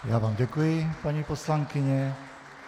Já vám děkuji, paní poslankyně.